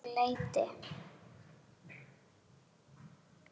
Að nokkru leyti.